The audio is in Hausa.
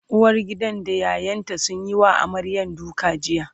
uwargidan da ƴaƴanta sun Yi wa amaryar duka jiya